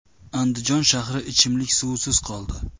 Andijon shahri ichimlik suvisiz qoldi.